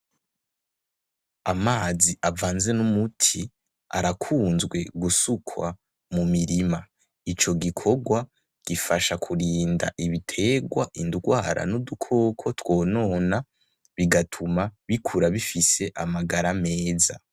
Amazi avanze n'umuti arakunzwe gusukwa mu mirima, ico gikorwa gifasha kurinda ibiterwa indwara n'udukoko twonona bigatuma bikura bifise amagara meza.